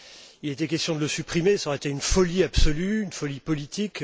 Il a été question de le supprimer, cela aurait été une folie absolue, une folie politique.